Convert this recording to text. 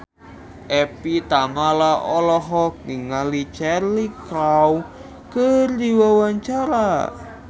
Evie Tamala olohok ningali Cheryl Crow keur diwawancara